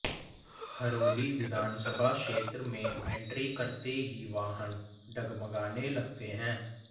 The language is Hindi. हरोली विधानसभा क्षेत्र में एंट्री करते ही वाहन डगमगाने लगते हैं